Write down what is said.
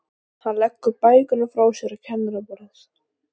Eiginkona predikarans er í stuttu pilsi og flaggar fögrum leggjum.